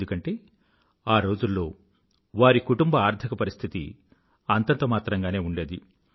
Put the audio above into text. ఎందుకంటే ఆ రోజుల్లో వారి కుటుంబ ఆర్థిక పరిస్థితి అంతంతమాత్రంగా ఉండేది